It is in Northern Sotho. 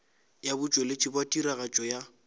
ya botšweletši bja tiragatšo ya